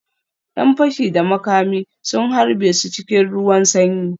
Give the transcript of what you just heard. ‘Yan fashi da makami sun harbe su cikin ruwan sanyi